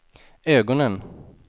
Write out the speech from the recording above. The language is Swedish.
ögonen